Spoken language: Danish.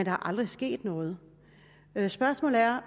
er aldrig sket noget spørgsmålet er